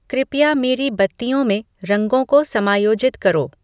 कृपया मेरी बत्तियों में रंगों को समायोजित करो